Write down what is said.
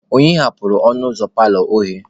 Onye ghebelu ọnụ ụzọ paalọ oghe?